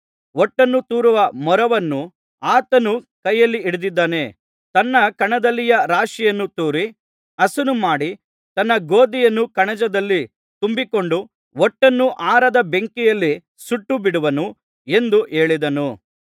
ಹೊಟ್ಟನು ತೂರುವ ಮೊರವನ್ನು ಆತನು ಕೈಯಲ್ಲಿ ಹಿಡಿದಿದ್ದಾನೆ ತನ್ನ ಕಣದಲ್ಲಿಯ ರಾಶಿಯನ್ನು ತೂರಿ ಹಸನು ಮಾಡಿ ತನ್ನ ಗೋದಿಯನ್ನು ಕಣಜದಲ್ಲಿ ತುಂಬಿಕೊಂಡು ಹೊಟ್ಟನ್ನು ಆರದ ಬೆಂಕಿಯಲ್ಲಿ ಸುಟ್ಟು ಬಿಡುವನು ಎಂದು ಹೇಳಿದನು